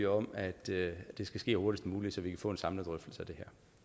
om at det skal ske hurtigst muligt så vi kan få en samlet drøftelse af det